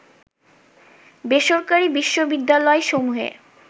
বেসরকারি বিশ্ববিদ্যালয়সমূহে